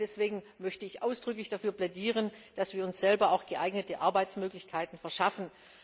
Deswegen möchte ich ausdrücklich dafür plädieren, dass wir uns selbst geeignete Arbeitsmöglichkeiten verschaffen.